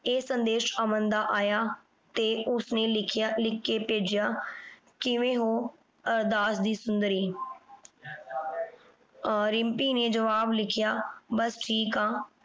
ਇਹ ਸੰਦੇਸ਼ ਅਮਨ ਦਾ ਆਇਆ ਤੇ ਉਸਨੇ ਲਿਖਿਆ ਲਿਖ ਕੇ ਭੇਜਿਆ ਕਿਵੇਂ ਹੋ ਅਹ ਦਾਸ ਦੀ ਸੁੰਦਰੀ? ਰਿੰਪੀ ਨੇ ਜਵਾਬ ਲਿਖਿਆ ਬਸ ਠੀਕ ਆਂ